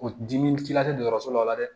O diminci la tɛ dɔgɔtɔrɔso la dɛ